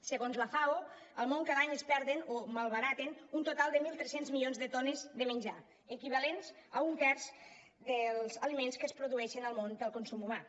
segons la fao al món cada any es perden o malbaraten un total de mil tres cents milions de tones de menjar equivalents a un terç dels aliments que es produeixen al món per al consum humà